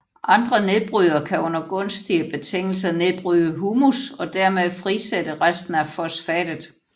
Andre nedbrydere kan under gunstige betingelser nedbryde humus og derved frisætte resten af fosfatet